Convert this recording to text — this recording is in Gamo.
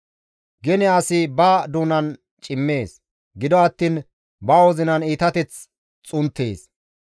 Gene asi ba doonan cimees; gido attiin ba wozinan iitateth xunttees.